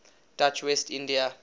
dutch west india